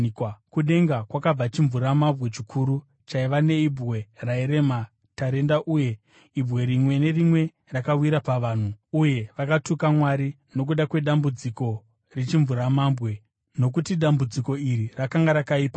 Kudenga kwakabva chimvuramabwe chikuru chaiva neibwe rairema tarenda uye ibwe rimwe nerimwe rakawira pavanhu. Uye vakatuka Mwari nokuda kwedambudziko rechimvuramabwe, nokuti dambudziko iri rakanga rakaipa kwazvo.